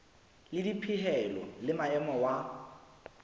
le dipehelo le maemo wa